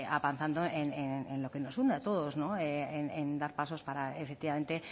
avanzando en lo que nos une a todos en dar pasos para efectivamente